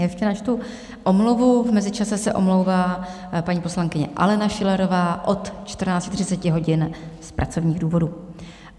Ještě načtu omluvu: v mezičase se omlouvá paní poslankyně Alena Schillerová od 14.30 hodin z pracovních důvodů.